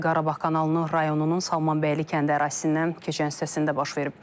Hadisə Qarabağ kanalının rayonunun Salmanbəyli kəndi ərazisindən keçən hissəsində baş verib.